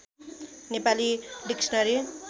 Nepali dictionary